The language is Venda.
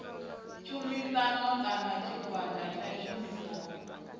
tshumisano kana tshigwada tsha tshumisano